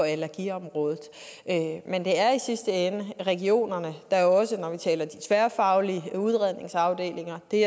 allergiområdet men det er i sidste ende regionerne der jo også når vi taler de tværfaglige udredningsafdelinger og det